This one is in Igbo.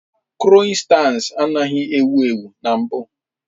Kroissants anaghị ewu ewu na mbụ